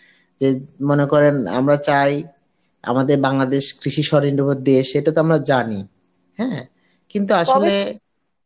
যে মনে করেন আমরা চাই যে মনে করেন আমরা চাই আমাদের বাংলাদেশ কৃষি উপর দিয়ে সেটা তো আমরা জানি হ্যাঁ কিন্তু